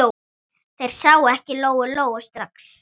Þær sáu ekki Lóu-Lóu strax.